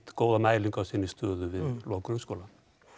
góða mælingu á sinni stöðu við lok grunnskóla